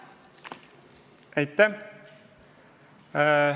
Aitäh!